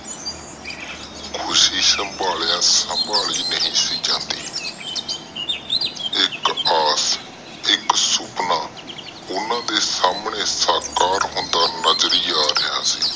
ਖੁਸ਼ੀ ਸੰਭਾਲਿਆ ਸੰਭਾਲੀ ਨਹੀਂ ਸੀ ਜਾਂਦੀ ਇਕ ਆਸ ਇਕ ਸੁਪਨਾ ਓਹਨਾ ਦੇ ਸਾਮਣੇ ਸਾਕਾਰ ਹੁੰਦਾ ਨਜਰੀ ਆ ਰਿਹਾ ਸੀ